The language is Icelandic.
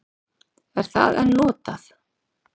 Er það enn notað?